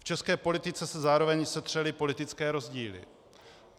V české politice se zároveň setřely politické rozdíly.